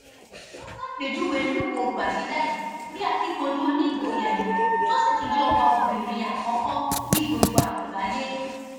ó ṣàpèjúwe lúwọ gbàgìdá yìí bíi akíkanjú onígboyà èèyàn tó sì tún jẹ ọba obìnrin àkọkọ ní gbogbo àgbáyé